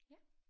Ja